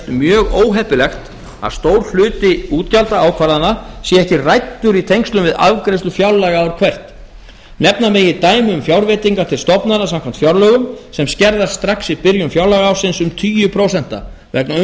mjög óheppilegt að stór hluti útgjaldaákvarðana sé ekki ræddur í tengslum við afgreiðslu fjárlaga ár hvert nefna megi dæmi um fjárveitingar til stofnana samkvæmt fjárlögum sem skerðast strax í byrjun fjárlagaársins um tugi prósenta vegna